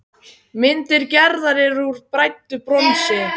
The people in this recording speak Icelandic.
Myndir Gerðar eru úr bræddu bronsi.